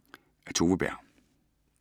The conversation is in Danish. Af Tove Berg